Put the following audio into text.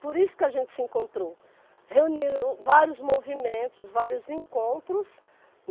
Por isso que a gente se encontrou, reunindo vários movimentos, vários encontros.